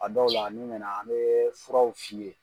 A dɔw la n'i na na an bɛ furaw f'i ye.